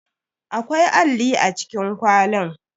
Akwai alli a cikin kwalin.